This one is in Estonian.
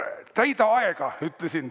"Täida aega!" ütlesin.